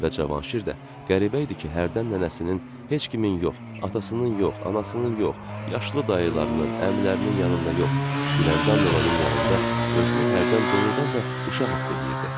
Və Cavanşir də qəribə idi ki, hərdən nənəsinin, heç kimin yox, atasının yox, anasının yox, yaşlı dayılarının, əmilərinin yanında yox, Güləndam nənənin yanında özünü hərdən doğrudan da uşaq hiss eləyirdi.